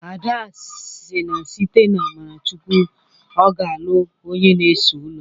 Ada si na site n'amara Chukwụ na ọ ga-alụ onye na-ese ụlọ